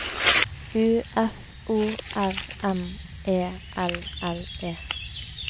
U F O R M E L L E